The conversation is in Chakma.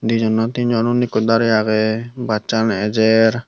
dijon na tinjon unni ekko darey aagey busaan ejer.